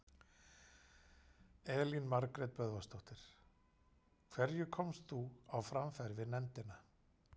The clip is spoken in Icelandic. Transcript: Elín Margrét Böðvarsdóttir: Hverju komst þú á framfæri við nefndina?